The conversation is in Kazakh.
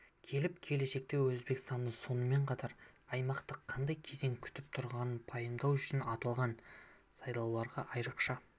келіп келешекте өзбекстанды сонымен қатар аймақты қандай кезең күтіп тұрғанын пайымдау үшін аталған сайлауларға айрықша